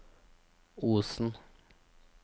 Osen